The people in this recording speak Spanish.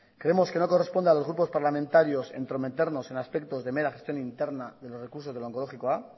creemos que no corresponde a los grupos parlamentarios entrometernos en aspectos de mera gestión interna de los recursos del onkologikoa